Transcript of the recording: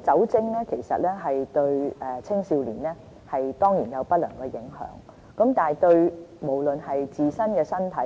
酒精對青少年當然有不良的影響，對自身身體